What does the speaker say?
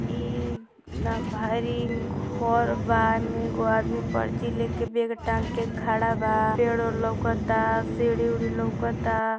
ई न भारी घर बा एकगो आदमी पर्ची लेके बैग टांग के खड़ा बा पेड़ ओढ़ लौकत आ सीडी उड़ी लौकत आ।